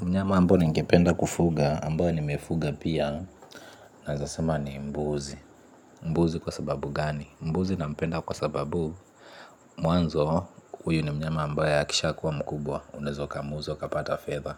Mnyama ambao ningependa kufuga, ambao nimefuga pia nawezasema ni mbuzi. Mbuzi kwa sababu gani? Mbuzi nampenda kwa sababu mwanzo huyu ni mnyama ambaye akishakuwa mkubwa. Unaweza ukamuza ukapata fedha.